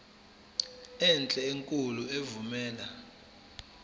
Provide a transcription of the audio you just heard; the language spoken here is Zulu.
enhle enkulu evumela